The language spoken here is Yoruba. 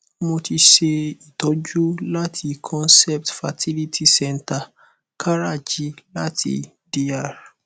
mo ti ṣe itoju láti concept fertility centre karachi láti dr